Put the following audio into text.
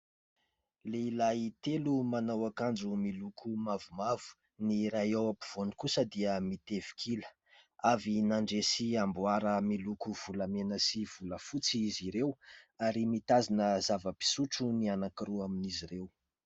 Lehilahy telo manao akanjo miloko mavomavo, ny iray ao ampovoany kosa dia mitefik'ila, avy nandresy amboara miloko volamena sy volafotsy izy ireo ary mitazona zava-pisotro ny anakiroa amin'izy ireo.